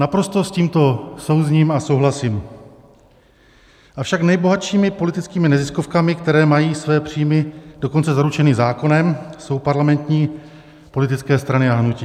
Naprosto s tímto souzním a souhlasím, avšak nejbohatšími politickými neziskovkami, které mají své příjmy dokonce zaručeny zákonem, jsou parlamentní politické strany a hnutí.